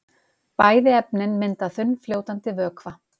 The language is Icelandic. Bæði efnin mynda þunnfljótandi vökva.